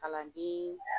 Kalanden